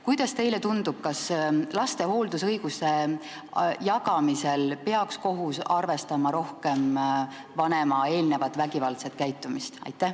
Kuidas teile tundub, kas laste hooldusõiguse jagamisel peaks kohus arvestama rohkem vanema eelnevat vägivaldset käitumist?